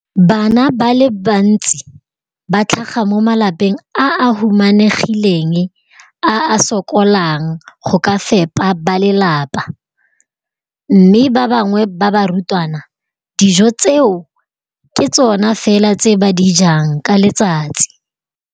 Bana ba le bantsi ba tlhaga mo malapeng a a humanegileng a a sokolang go ka fepa ba lelapa mme ba bangwe ba barutwana, dijo tseo ke tsona fela tse ba di jang ka letsatsi.